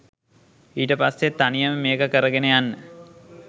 ඊට පස්සේ තනියම මේක කරගෙන යන්න